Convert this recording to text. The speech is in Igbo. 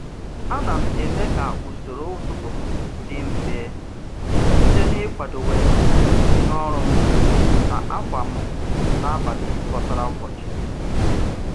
A na m eme ka usoro ụtụtụ m dị mfe site n'ịkwadowe ihe ọrụ m na ákwà m n'abalị bọtara ụbọchị.